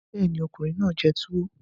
Bẹ́ẹ̀ ni, ọkùnrin náà jẹ tuwo